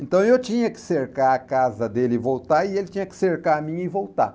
Então eu tinha que cercar a casa dele e voltar, e ele tinha que cercar a minha e voltar.